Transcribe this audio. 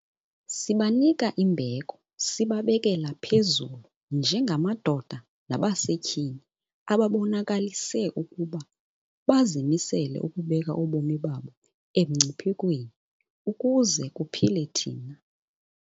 Sibanika imbeko sibabekela phezulu njengamadoda nabasetyhini ababonakalise ukuba bazimisele ukubeka ubomi babo emngciphekweni ukuze kuphile thina.